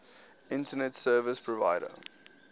internet service provider